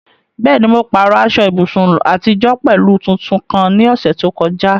Bẹ́ẹ̀ ni, mo pààrọ̀ aṣọ ìbùsùn àtijọ́ pẹ̀lú tuntun kan ní ọ̀sẹ̀ tó kọjá.